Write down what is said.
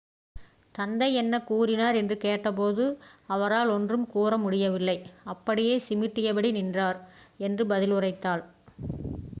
"தந்தை என்ன கூறினார் என்று கேட்டபோது "அவரால் ஒன்றும் கூற முடியவில்லை - அப்படியே சிமிட்டியபடி நின்றார்" என்று பதிலுரைத்தாள்.